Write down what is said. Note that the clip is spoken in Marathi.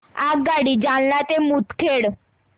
आगगाडी जालना ते मुदखेड